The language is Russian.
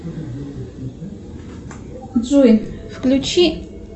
джой включи